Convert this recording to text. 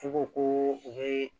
F'i ko ko u bɛ